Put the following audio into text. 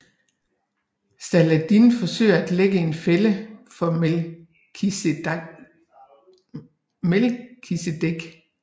Saladin forsøger at lægge en fælde for Melkisedek